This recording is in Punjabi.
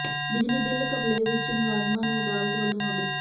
ਬਿਜਲੀ ਬਿੱਲ ਘਪਲੇ ਵਿੱਚ ਮੁਲਜ਼ਮਾਂ ਨੂੰ ਅਦਾਲਤ ਵੱਲੋਂ ਨੋਟਿਸ